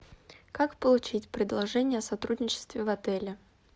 как получить предложение о сотрудничестве в отеле